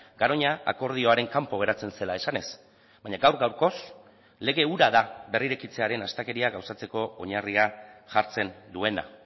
garoña akordioaren kanpo geratzen zela esanez baina gaur gaurkoz lege hura da berrirekitzearen astakeria gauzatzeko oinarria jartzen duena